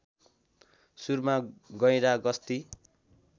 सुरुमा गैंडा गस्ती